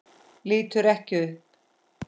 Lítur ekki upp.